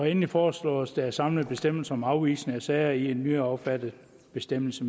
endelig foreslås det at samle bestemmelserne om afvisning af sager i en nyaffattet bestemmelse